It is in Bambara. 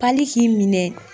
Pali k'i minɛ.